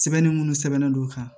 Sɛbɛnni munnu sɛbɛnnen don o kan